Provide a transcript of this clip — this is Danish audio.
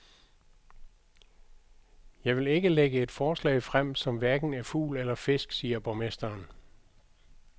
Jeg vil ikke lægge et forslag frem, som hverken er fugl eller fisk, siger borgmesteren.